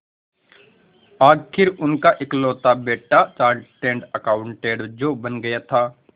आखिर उनका इकलौता बेटा चार्टेड अकाउंटेंट जो बन गया था